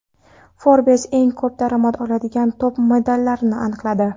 Forbes eng ko‘p daromad oladigan top-modellarni aniqladi.